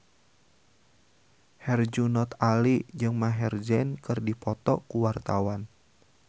Herjunot Ali jeung Maher Zein keur dipoto ku wartawan